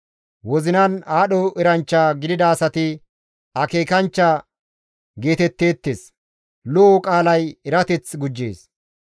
Wozinan aadho eranchcha gidida asati akeekanchcha geetetteettes; lo7o qaalay erateth gujjees.